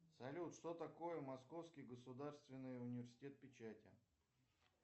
салют что такое московский государственный университет печати